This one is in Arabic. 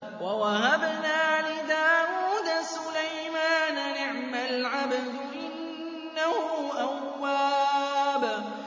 وَوَهَبْنَا لِدَاوُودَ سُلَيْمَانَ ۚ نِعْمَ الْعَبْدُ ۖ إِنَّهُ أَوَّابٌ